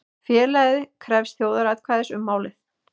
Félagið krefst þjóðaratkvæðis um málið